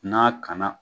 N'a kana